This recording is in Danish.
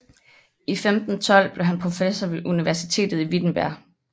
I 1512 blev han professor ved universitetet i Wittenberg